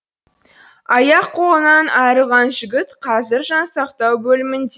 аяқ қолынан айырылған жігіт қазір жансақтау бөлімінде